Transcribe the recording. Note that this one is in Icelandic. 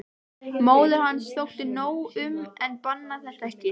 Móður hans þótti nóg um en bannaði þetta ekki.